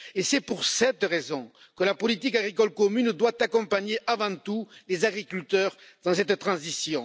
Et c'est pour cette raison que la politique agricole commune doit accompagner avant tout les agriculteurs dans cette transition.